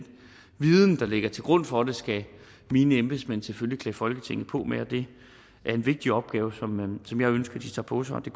viden der ligger til grund for det skal mine embedsmænd selvfølgelig klæde folketinget på med og det er en vigtig opgave som jeg ønsker de tager på sig og det